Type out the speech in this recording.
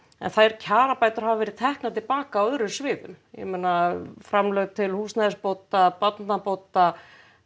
en þær kjarabætur hafa verið teknar til baka á öðrum sviðum ég meina framlög til húsnæðisbóta barnabóta